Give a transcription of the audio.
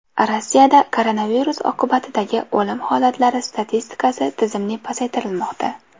Rossiyada koronavirus oqibatidagi o‘lim holatlari statistikasi tizimli pasaytirilmoqda.